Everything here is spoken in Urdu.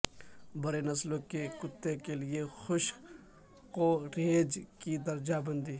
بڑے نسلوں کے کتے کے لئے خشک کوریج کی درجہ بندی